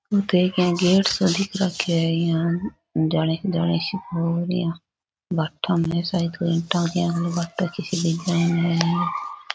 इया गेट सो दिख रखो है इया --